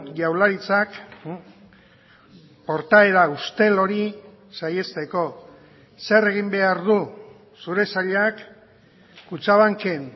jaurlaritzak portaera ustel hori saihesteko zer egin behar du zure sailak kutxabanken